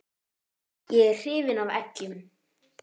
Ég er hrifinn af eggjum.